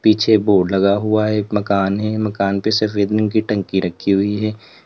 पीछे बोर्ड लगा हुआ है एक मकान है मकान पे सिर्फ की टंकी रखी हुई है।